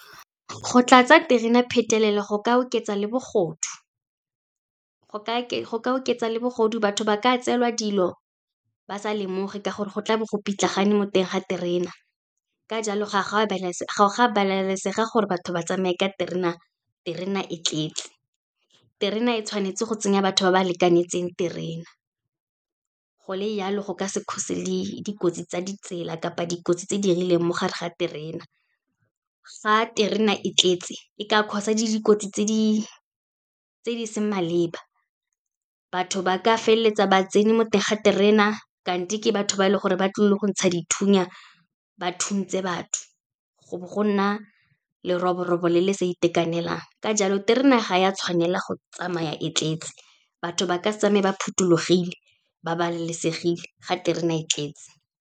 Go tlatsa terena phetelela go ka oketsa le bogodu. Go ka oketsa le bogodu, batho ba ka tseelwa dilo ba sa lemoge, ka gore go tla bo go pitlagane mo teng ga terena, ka jalo ga gwa gore batho ba tsamaye ka terena, terena e tletse. Terena e tshwanetse go tsenya batho ba ba lekanetseng terena, go le jalo go ka se cause le dikotsi tsa ditsela kapa dikotsi tse di rileng mo gare ga terena. Fa terena e tletse, e ka cause-a le dikotsi tse di seng maleba, batho ba ka feleletsa ba tsene mo teng ga terena, kante ke batho ba leng gore, ba tlile go ntsha dithunya ba thuntse batho, go bo gonna leroborobo le le sa itekanelang. Ka jalo, terena ga ya tshwanela go tsamaya e tletse, batho ba ka se tsamaye ba phuthologile, ba babalesegile ga terena e tletse.